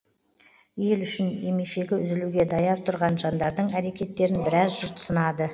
ел үшін емешегі үзілуге даяр тұрған жандардың әрекеттерін біраз жұрт сынады